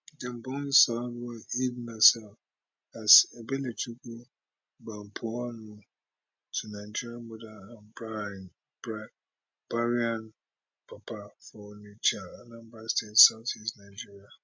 dem born salwa eid naser as ebelechukwu agbapuonwu to nigerian mother and bahrain papa for onitsha anambra state south east nigeria